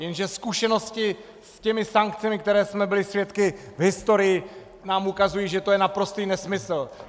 Jenže zkušenosti s těmi sankcemi, kterých jsme byli svědky v historii, nám ukazují, že to je naprostý nesmysl!